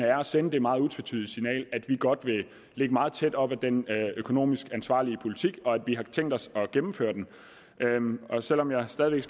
er at sende det meget utvetydige signal at vi godt vil ligge meget tæt op ad den økonomisk ansvarlige politik og at vi har tænkt os at gennemføre den selv om jeg stadig væk